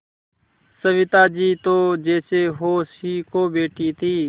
सविता जी तो जैसे होश ही खो बैठी थीं